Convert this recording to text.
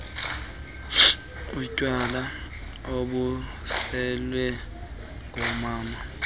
utywala obuselwe ngumama